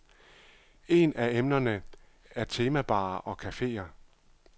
En af emnerne er temabarer og cafeer.